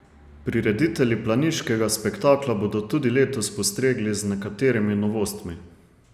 Prireditelji planiškega spektakla bodo tudi letos postregli z nekaterimi novostmi.